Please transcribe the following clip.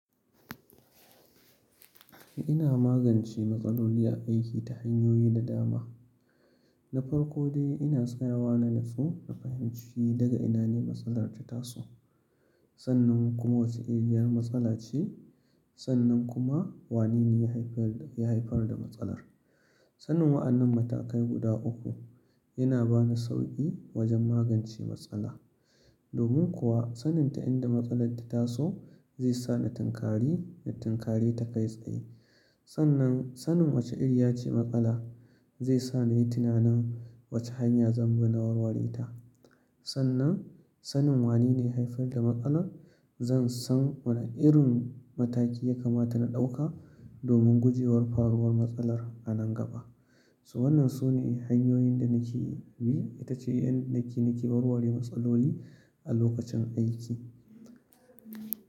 Ina magance matsaloli a aiki ta hanyoyi da dama. Na farko dai ina tsayawa na nutsu na fahimci daga ina ne matsalar ta taso, sannan kuma wace iriyar matsala ce, sannan kuma wane ne ya haifar da matsalar. Sanin wa'annan matakai guda uku yana bani sauƙi wajen magance matsala. Domin kuwa sanin ta inda matsalar ta taso zai sa na tinkari na tinkari ta kai tsaye. Sannan, sanin wace ire ya ce matsala zai sa na yi tunanin wace hanya zan bi na warware ta. Sannan, sanin wane ne ya haifar da matsala zan san wane irin mataki ya kamata na ɗauka domin guje wa faruwar matsalar a nan gaba. Wannan su ne hanyoyin da nake bi, ita ce yadda nake nake warware matsaloli a lokacin aiki.